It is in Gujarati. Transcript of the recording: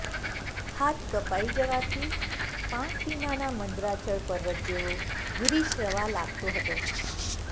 હાથ કપાઈ જવાથી પાંખ વીનાના મંદરાચળપર્વત જેવો ભૂરિશ્રવા લાગતો હતો